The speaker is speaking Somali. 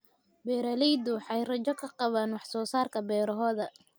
Beeraleydu waxay rajo ka qabaan wax soo saarka beerahooda.